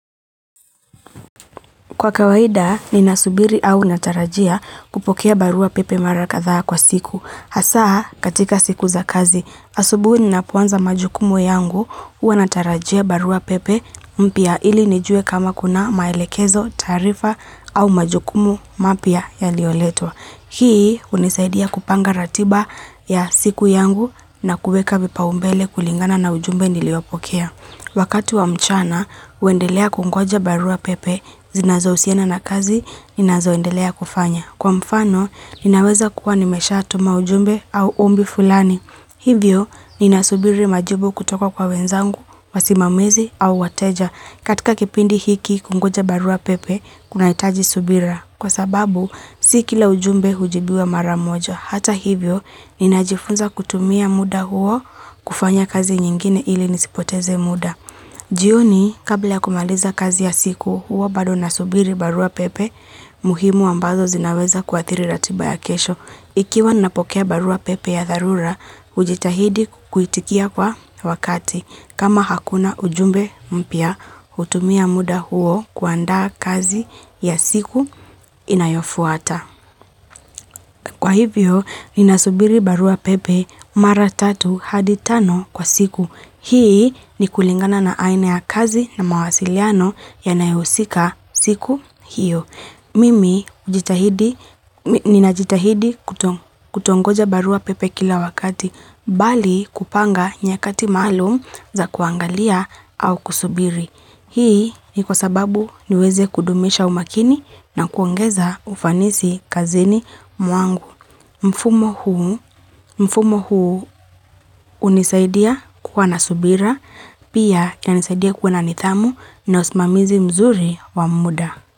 Kwa kawaida, ninasubiri au natarajia kupokea barua pepe mara kadhaa kwa siku. Hasa, katika siku za kazi, asubuhi ninapoanza majukumu yangu, huwa natarajia barua pepe mpya ili nijuwe kama kuna maelekezo, taarifa au majukumu mapya yaliyoletwa. Hii hunisaidia kupanga ratiba ya siku yangu na kuweka vipaumbele kulingana na ujumbe niliyopokea. Wakati wa mchana, huendelea kungoja barua pepe, zinazohusiana na kazi, ninazoendelea kufanya. Kwa mfano, ninaweza kuwa nimeshatuma ujumbe au ombi fulani. Hivyo, ninasubiri majibu kutoka kwa wenzangu, wasimamizi au wateja. Katika kipindi hiki kungoja barua pepe, kunahitaji subira. Kwa sababu, si kila ujumbe hujibiwa mara moja. Hata hivyo, ninajifunza kutumia muda huo kufanya kazi nyingine ili nisipoteze muda. Jioni, kabla ya kumaliza kazi ya siku, huwa bado nasubiri barua pepe muhimu ambazo zinaweza kuathiri ratiba ya kesho. Ikiwa ninapokea barua pepe ya dharura, hujitahidi kuitikia kwa wakati. Kama hakuna ujumbe mpya, hutumia muda huo kuandaa kazi ya siku inayofuata. Kwa hivyo, ninasubiri barua pepe mara tatu hadi tano kwa siku. Hii ni kulingana na aina ya kazi na mawasiliano yanayohusika siku hiyo. Mimi ninajitahidi kutongoja barua pepe kila wakati, bali kupanga nyakati maalum za kuangalia au kusubiri. Hii ni kwa sababu niweze kudumisha umakini na kuongeza ufanisi kazini mwangu. Mfumo huu hunisaidia kuwa na subira, pia yanisaidia kuwa na nidhamu na usimamizi mzuri wa muda.